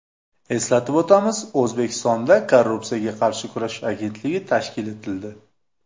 Eslatib o‘tamiz, O‘zbekistonda Korrupsiyaga qarshi kurashish agentligi tashkil etildi .